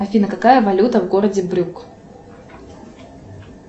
афина какая валюта в городе брюк